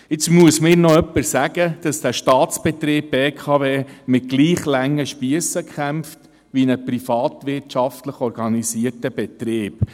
Jetzt soll mir noch jemand sagen, dass der Staatsbetrieb BKW mit gleich langen Spiessen kämpft wie ein privatwirtschaftlich organisierter Betrieb.